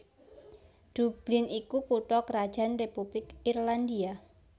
Dublin iku kutha krajan Republik Irlandia